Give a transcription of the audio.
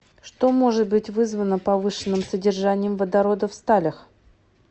что может быть вызвано повышенным содержанием водорода в сталях